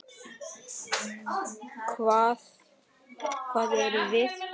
Hver erum við?